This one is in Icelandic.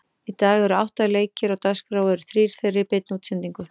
Í dag eru átta leikir á dagskrá og eru þrír þeirra í beinni útsendingu.